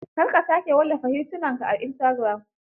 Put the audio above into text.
Kar ka sake wallafa hitunanka a istagiram.